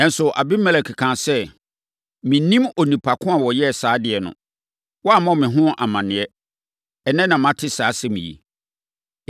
Nanso, Abimelek kaa sɛ, “Mennim onipa ko a ɔyɛɛ saa adeɛ no. Woammɔ me ho amaneɛ. Ɛnnɛ na mate saa asɛm yi.”